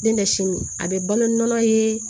Ne bɛ sini a bɛ balo nɔnɔ ye